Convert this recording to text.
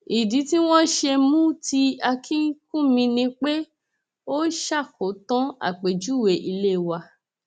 ìdí tí wọn ṣe mú ti akínkùnmí ni pé ó ṣàkótán àpèjúwe ilé wa